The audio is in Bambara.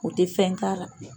O tɛ fɛn k'a ra